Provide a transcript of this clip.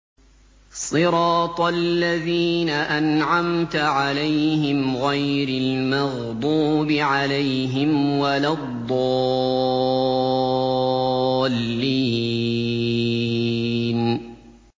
صِرَاطَ الَّذِينَ أَنْعَمْتَ عَلَيْهِمْ غَيْرِ الْمَغْضُوبِ عَلَيْهِمْ وَلَا الضَّالِّينَ